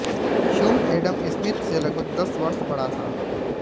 Hume Adam Smith से लगभग दस वर्ष बड़ा था